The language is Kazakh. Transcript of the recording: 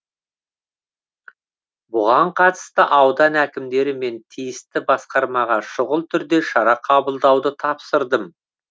бұған қатысты аудан әкімдері мен тиісті басқармаға шұғыл түрде шара қабылдауды тапсырдым